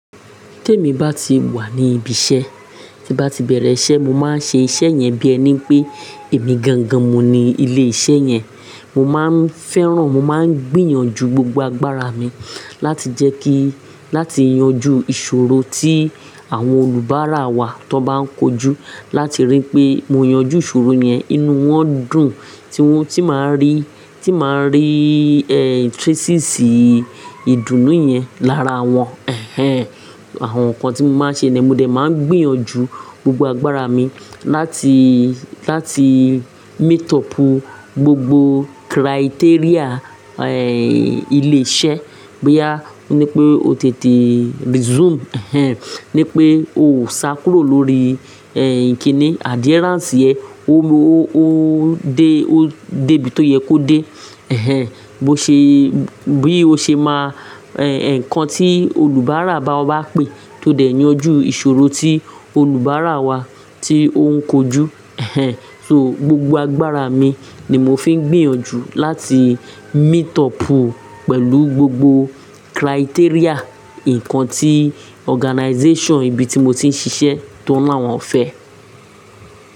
Tí èmi bá ti wà ní ibi iṣẹ́, tí bá ti bẹ̀rẹ̀ iṣẹ́, mo máa ń ṣe iṣẹ́ yẹn bí ẹni pé èmi gan gan mu ni ilé iṣẹ́ yẹn. Mo máa ń fẹ́ràn, mo máa ń gbìyànjú gbogbo agbára mi láti jẹ́ kí, láti yanjú ìṣòro tí àwọn olùbárà wa tó bá ń kojú láti rí pé mo yanjú ìṣòro yẹn. Inú wọn dùn tí wọ́n ti máa rí, tí máa rí, eh, traces ìdùnnú yẹn lára wọn, ẹhẹ́n. Àwọn nǹkan tí mo máa ṣe ni mo dẹ̀ máa ń gbìyànjú gbogbo agbára mi láti, láti meet up gbogbo criteria, eh, ilé iṣẹ́. Boyà oní pé o tètè resume, ẹhẹ́n, ní pé o ò sá kúrò lórí, eh, kíni adherence yẹn, ó lọ, ó, ó dé, ó dé bí tó yẹ kó dé, ẹhẹ́n. Bó ṣe, bí o ṣe máa, eh, ǹkan tí olùbárà bá ọ bá pè tó dẹ̀ yanjú ìṣòro tí olùbárà wa tí ó ń kojú, ẹhẹ́n. So gbogbo agbára mi ni mo fi ń gbìyànjú láti meet up pẹ̀lú gbogbo criteria, ǹkan tí organization ibi tí mo ti ń ṣiṣẹ́ tó láwọn fẹ́.